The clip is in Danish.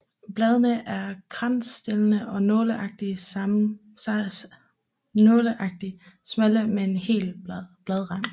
Bladene er kransstillede og nåleagtigt smalle med hel bladrand